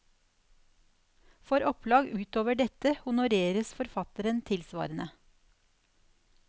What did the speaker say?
For opplag utover dette honoreres forfatteren tilsvarende.